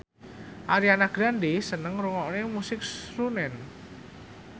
Ariana Grande seneng ngrungokne musik srunen